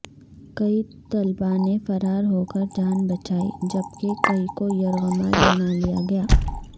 کئی طلبا نے فرار ہو کر جان بچائی جبکہ کئی کو یرغمال بنا لیا گیا